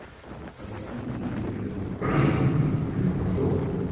ии ну поменял подход